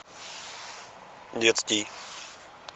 детский